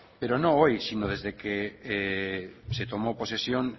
pero no hoy sino desde que se tomó posesión